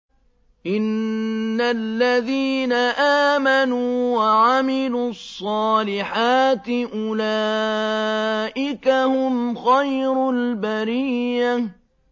إِنَّ الَّذِينَ آمَنُوا وَعَمِلُوا الصَّالِحَاتِ أُولَٰئِكَ هُمْ خَيْرُ الْبَرِيَّةِ